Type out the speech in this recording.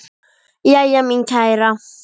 Jæja, mín kæra.